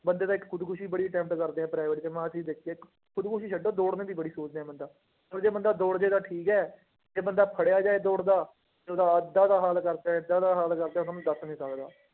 ਬੰਦੇ ਤਾਂ ਇੱਕ ਖੁਦਕੁਸ਼ੀ ਬੜੀ attempt ਕਰਦੇ ਆ private ਚ, ਮੈ ਆਹ ਚੀਜ਼ ਦੇਖੀ ਆ ਇੱਕ ਖੁਦਕੁਸ਼ੀ ਛੱਡੋ ਦੋੜਨੇ ਦੀ ਬੜੀ ਸੋਚਦੇ ਆ ਬੰਦਾ, ਚੱਲ ਜੇ ਬੰਦਾ ਦੋੜ ਜਾਏਗਾ ਠੀਕ ਹੈ, ਜੇ ਬੰਦਾ ਫੜਿਆ ਜਾਏ ਦੋੜਦਾ ਤੇ ਉਹਦਾ ਏਦਾਂ ਦਾ ਹਾਲ ਕਰਦੇ ਹੈ, ਏਦਾਂ ਦਾ ਹਾਲ ਕਰਦੇ ਹੈ ਤੁਹਾਨੂੰ ਦੱਸ ਨੀ ਸਕਦਾ।